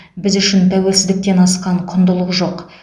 біз үшін тәуелсіздіктен асқан құндылық жоқ